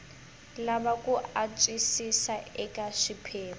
lava ku antswisiwa eka swiphemu